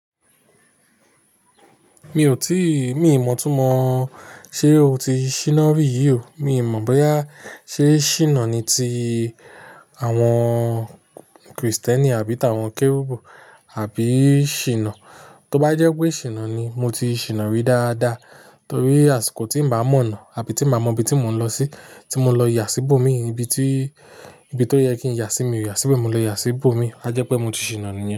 Mi ò tíì, mi ò mọ̀ túmọ̀ ṣe o ti ṣìnà rí yí o. Mi ò mọ̀ bóyá ṣe ṣínà ni ti àwọn Kristẹni àbí tàwọn Kérúbù àbí ṣìnà. Tó bá jẹ́ pé ṣìnà ni, mo ti ṣìnà rí dáadáa torí àsìkò tí n bá mọ̀nà àbí tí n bá mọ ibi tí mò ń lọ sí, tí mo lọ yà síbò mi ní ibi tí, ibi tó yẹ kí n yà sí mi ò yà síbẹ̀, mo lè yà síbò mi. A jẹ́ pé mo ti ṣìnà níyẹn.